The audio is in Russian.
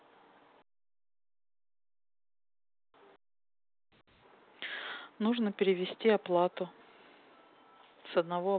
нужно перевести оплату с одного